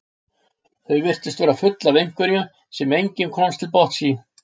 Þau virtust vera full af einhverju sem enginn komst til botns í.